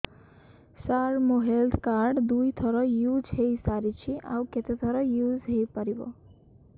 ସାର ମୋ health card ଦୁଇ ଥର ୟୁଜ଼ ହୈ ସାରିଛି ଆଉ କେତେ ଥର ୟୁଜ଼ ହୈ ପାରିବ